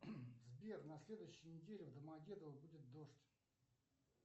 сбер на следующей неделе в домодедово будет дождь